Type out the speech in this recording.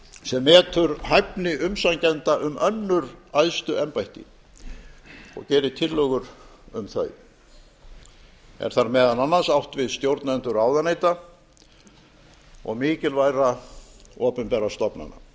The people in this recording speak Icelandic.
sem metur hæfni umsækjenda um önnur æðstu embætti og gerir tillögur um þau er þar meðal annars átt við stjórnendur ráðuneyta og mikilvægra opinberra stofnana